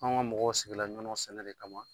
An ka mɔgɔw sigila ɲɔnɔ sɛnɛ de kama.